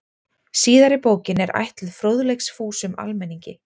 Síðari bókin er ætluð fróðleiksfúsum almenningi.